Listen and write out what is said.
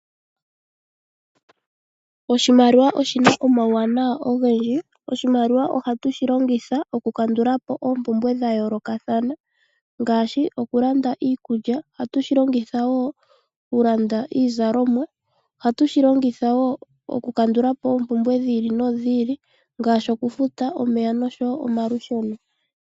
Oshimaliwa oshina omawu wanawa ogendji oshimaliwa ohatu shi longitha oku kandulapo oompumbwe dha yoolokathana ngaashi okulanda iikulya ohatu shi longitha nokulanda iizalomwa ohatushilongitha nokukandulapo oompumbwe dhi ili nodhi ili ngaashi oku futa omeya nomalusheno.